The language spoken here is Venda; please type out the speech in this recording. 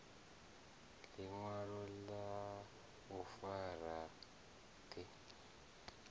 ḽiṅwalo ḽa u fara ḓi